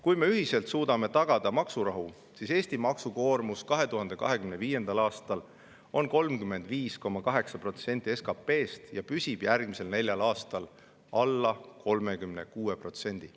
Kui me ühiselt suudame tagada maksurahu, siis on Eesti maksukoormus 2025. aastal 35,8% SKP‑st ja püsib järgmisel neljal aastal alla 36%.